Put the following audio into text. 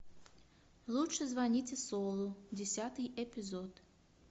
лучше звоните солу десятый эпизод